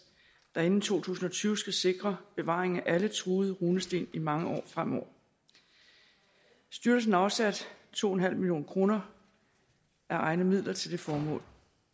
der inden to tusind og tyve skal sikre bevaringen af alle truede runesten i mange år fremover styrelsen afsatte to million kroner af egne midler til det formål